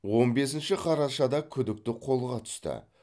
он бесінші қарашада күдікті қолға түсті